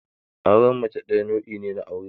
Auren mace ɗaya nau'i ne na aure.